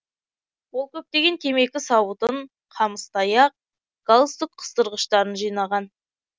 ол көптеген темекі сауытын қамыс таяқ галстук қыстырғыштарын жинаған